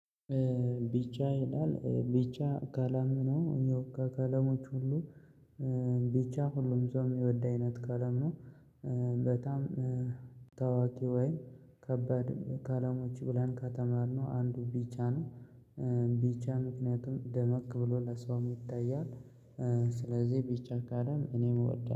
ቢቻ ይላል ቢቻ ከለም ነው ያው ከከለሞች ሁሉ ቢቻ ሁሉም ሰው የሚወድ አይነት ከለም ነው። በጣም ታዋቂ ወይም ከባድ ከለሞች ብለን ከተማርነው ነው አንዱ ቢቻ ነው። ቢቻ ምክንያቱም ደመቅ ብሎ ለሰውም ይታያል። ስለዚህ ቢቻ ቀለም እኔም እወዳለሁ